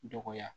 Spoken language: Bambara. Dɔgɔya